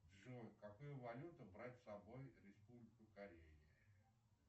джой какую валюту брать с собой в республику корея